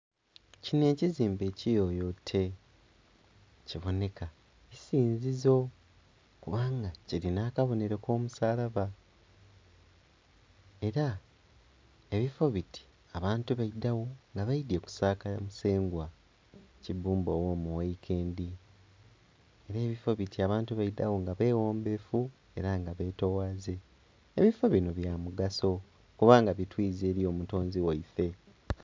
Kinho ekizimbe kiyoyote kibonheka isinzizo kubanga kirinha akabonhero ko musalaba era ebifo biti abantu baidhanga baidhye kusaaka musengwa kibumba ogho mughaikendi, era ebifo biti abantu baidhagho nga beghombefu era nga betowaze. Ebifobinho bya mugaso kubanga bitwiza eri omutonzi ghaife.